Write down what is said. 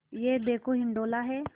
यह देखो हिंडोला है